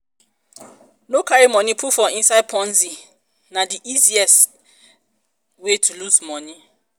no carry money put for inside ponzi na di easiest di easiest way to loose money